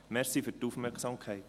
Danke für die Aufmerksamkeit.